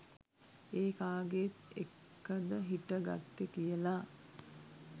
ඒ කාගෙත් එක්කද හිට ගත්තෙ කියලා?